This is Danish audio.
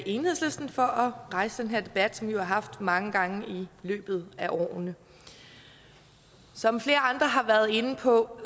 enhedslisten for at rejse den her debat som vi har haft mange gange i løbet af årene som flere andre har været inde på